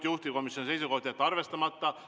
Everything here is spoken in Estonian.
Juhtivkomisjoni seisukoht on jätta see arvestamata.